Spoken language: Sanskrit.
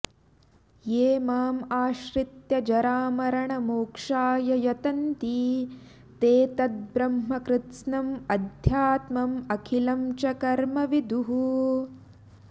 ये माम् आश्रित्य जरामरणमोक्षाय यतन्ति ते तत् ब्रह्म कृत्स्नम् अध्यात्मम् अखिलं च कर्म विदुः